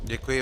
Děkuji.